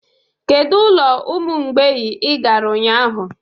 Kedu ụlọ ụmụ mgbei ị gara ụnyahụ?